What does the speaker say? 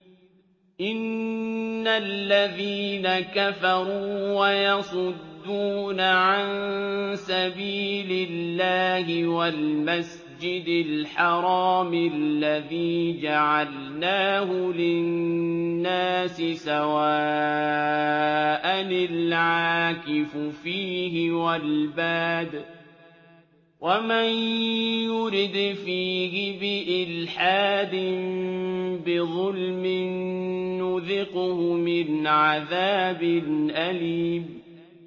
إِنَّ الَّذِينَ كَفَرُوا وَيَصُدُّونَ عَن سَبِيلِ اللَّهِ وَالْمَسْجِدِ الْحَرَامِ الَّذِي جَعَلْنَاهُ لِلنَّاسِ سَوَاءً الْعَاكِفُ فِيهِ وَالْبَادِ ۚ وَمَن يُرِدْ فِيهِ بِإِلْحَادٍ بِظُلْمٍ نُّذِقْهُ مِنْ عَذَابٍ أَلِيمٍ